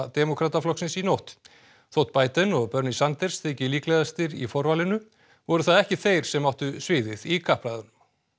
demókrataflokksins í nótt þótt Biden og Bernie Sanders þyki líklegastir í forvalinu voru það ekki þeir sem áttu sviðið í kappræðunum